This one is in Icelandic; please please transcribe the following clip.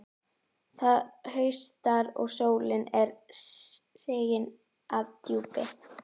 Það haustar, og sólin er sigin að djúpi.